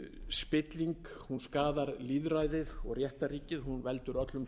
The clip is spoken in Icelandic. spilling hún skaðar lýðræðið og réttarríkið hún veldur öllum samfélögum og